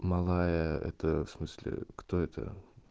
малая это в смысле кто это